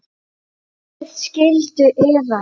Gerið skyldu yðar!